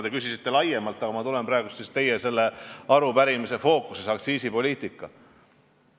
Te küsisite laiemalt, aga ma tulen teie arupärimise fookuse ehk aktsiisipoliitika juurde.